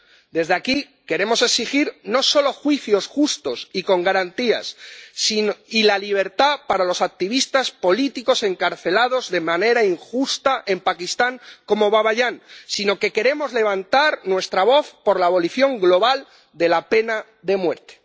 Desde aquí queremos exigir no solo juicios justos y con garantías y la libertad para los activistas políticos encarcelados de manera injusta en Pakistán como Baba Jan, sino que queremos levantar nuestra voz por la abolición global de la pena de muerte.